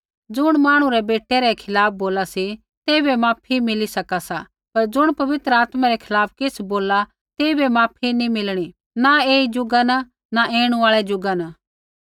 ज़ुण मांहणु रै बेटै रै खिलाफ़ बोला सा तेइबै माफी मिली सका सा पर ज़ुण पवित्र आत्मै रै खिलाफ़ किछ़ बोलला तेइबै माफी नी मिलणी न ऐई ज़ुगा न न ऐणु आल़ै ज़ुगा न